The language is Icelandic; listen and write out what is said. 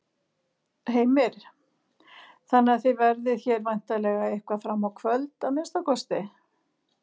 Heimir: Þannig að þið verðið hér væntanlega eitthvað fram á kvöld að minnsta kosti?